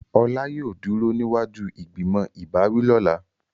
Ola yóò duro niwaju ìgbìmọ̀ ìbáwí lọla.